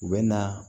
U bɛ na